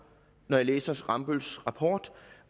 når jeg læser rambølls rapport